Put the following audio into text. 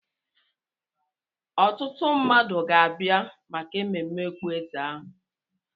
Ọtụtụ mmadụ ga-abịa maka emume okpueze ahụ.